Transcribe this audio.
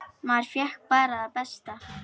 Maður fékk bara það besta.